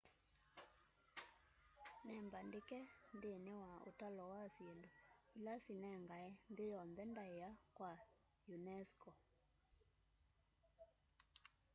nĩmbaandĩke nthĩnĩ wa ũtalo wa syĩndũ ila sinengae nthĩ yonthe ndaĩa wa unesco